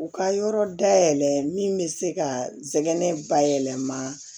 U ka yɔrɔ dayɛlɛ min bɛ se ka jɛgɛ bayɛlɛma